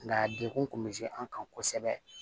Nka degun kun bɛ se an kan kosɛbɛ